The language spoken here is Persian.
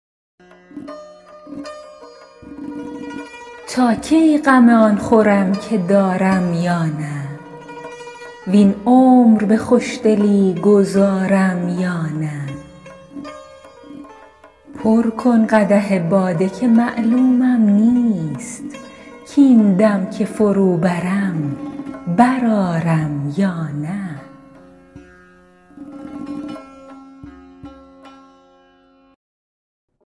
تا کی غم آن خورم که دارم یا نه وین عمر به خوشدلی گذارم یا نه پر کن قدح باده که معلومم نیست کاین دم که فرو برم برآرم یا نه